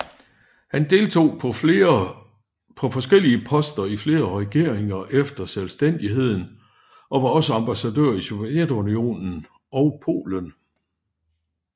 Han deltog på forskellige poster i flere regeringer efter selvstændigheden og var også ambassadør i Sovjetunionen og Polen